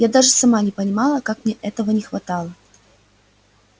я даже сама не понимала как мне этого не хватало